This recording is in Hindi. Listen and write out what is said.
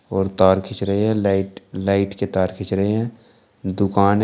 और तार खींच रहे हैं लाइट लाइट के तार खींच रहे हैं दुकान है।